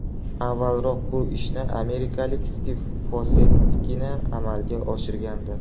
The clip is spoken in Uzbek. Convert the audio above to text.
Avvalroq bu ishni amerikalik Stiv Fossettgina amalga oshirgandi.